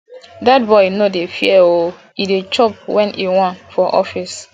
dat boy no dey fear oo e dey chop wen he want for office